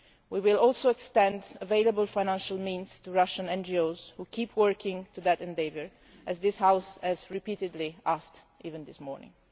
We will also extend available financial means to Russian NGOs which keep working in that endeavour, as this House has repeatedly asked, even this morning.